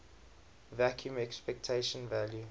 vacuum expectation value